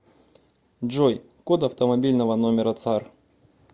джой код автомобильного номера цар